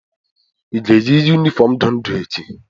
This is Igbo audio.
ị ga-eyi yunifọọm ndụ ndụ echi?